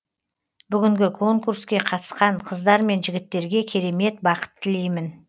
бүгінгі конкурске қатысқан қыздар мен жігіттерге керемет бақыт тілеймін